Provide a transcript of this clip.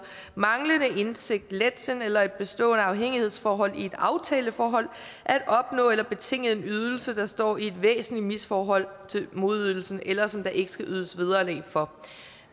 manglende indsigt letsind eller et bestående afhængighedsforhold i et aftaleforhold til at opnå eller betinge en ydelse der står i et væsentligt misforhold til modydelsen eller som der ikke skal ydes vederlag for